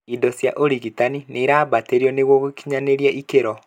indo cia ũrigitani nĩ nĩirambatĩrio nĩguo gũkinyanĩria ikeno